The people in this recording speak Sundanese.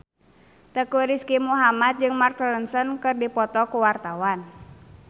Teuku Rizky Muhammad jeung Mark Ronson keur dipoto ku wartawan